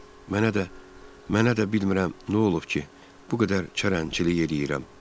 Mənə də, mənə də bilmirəm nə olub ki, bu qədər çərənlçilik eləyirəm.